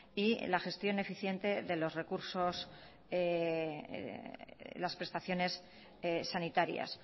y la gestión eficiente de los recursos las prestaciones sanitarias